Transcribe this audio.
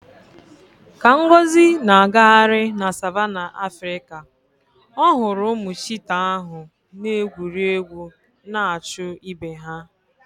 Ka Ngozi na-agagharị na savannah Africa, ọ hụrụ ụmụ cheetah ahụ na-egwuri egwu na-achụ ibe ha.